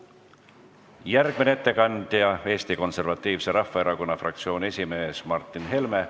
Järgmine ettekandja on Eesti Konservatiivse Rahvaerakonna fraktsiooni esimees Martin Helme.